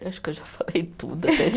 Eu acho que eu já falei tudo até